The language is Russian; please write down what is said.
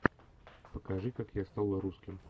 покажи как я стал русским